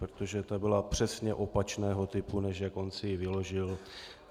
Protože ta byla přesně opačného typu, než jak on si ji vyložil.